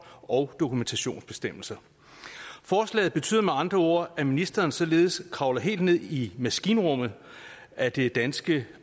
og dokumentationsbestemmelser forslaget betyder med andre ord at ministeren således kravler helt ned i maskinrummet af det danske